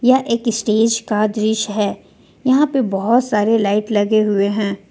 यह एक स्टेज का दृश्य है यहां पर बहोत सारे लाइट लगे हुए हैं।